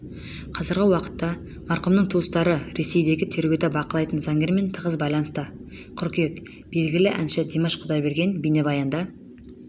қазіргі уақытта марқұмның туыстары ресейдегі тергеуді бақылайтын заңгермен тығыз байланыста қыркүйек белгілі әнші димаш құдайберген бейнебаянда